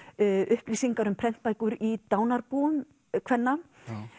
upplýsingar um prentbækur í dánarbúum kvenna